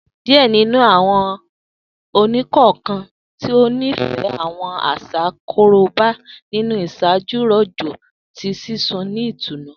Diẹ ninu awọn ẹni-kọọkan ti o nifẹ awọn aṣa Koroba ni iṣaaju rojọ ti sisun ni itunu